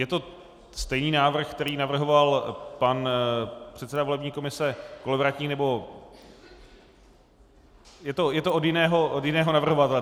Je to stejný návrh, který navrhoval pan předseda volební komise Kolovratník, nebo... je to od jiného navrhovatele.